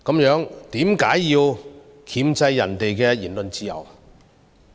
若是，為何要箝制別人的言論自由？